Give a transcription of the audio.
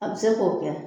A bɛ se k'o kɛ